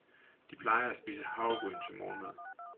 De plejer at spise havregryn til morgenmad.